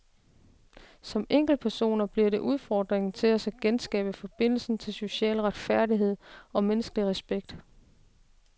Som enkeltpersoner bliver det udfordringen til os at genskabe forbindelsen til social retfærdighed og menneskelig respekt.